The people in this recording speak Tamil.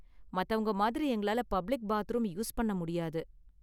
மத்தவங்க மாதிரி எங்களால பப்ளிக் பாத்ரூம் யூஸ் பண்ண முடியாது.